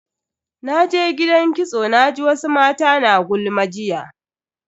Naje gidan kitso naji wasu mata na gulma jiya.